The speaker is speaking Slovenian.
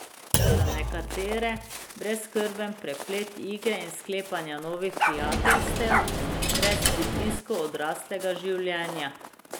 Za nekatere brezskrben preplet igre in sklepanja novih prijateljstev brez pritiskov odraslega življenja.